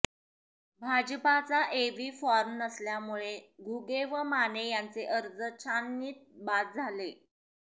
भाजपाचा AB form नसल्यामुळे घुगे व माने यांचे अर्ज छाननीत बाद झाले